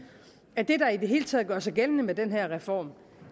at det der i det hele taget gør sig gældende med den her reform